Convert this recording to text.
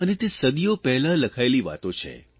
અને તે સદીઓ પહેલાં લખાયેલી વાતો છે